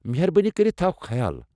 مہربٲنی کٔرتھ تھاو خیال۔